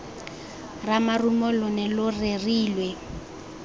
ramarumo lo ne lo rerilwe